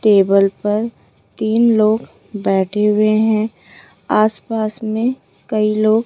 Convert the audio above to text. table पर तीन लोग बैठे हुए हैं आसपास में कई लोग --